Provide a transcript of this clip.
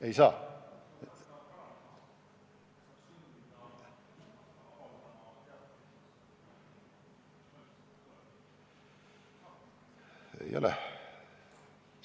Ei saa!